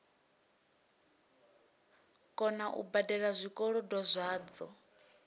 kona u badela zwikolodo zwadzo